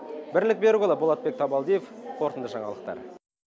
бірлік берікұлы болатбек табалдиев қорытынды жаңалықтар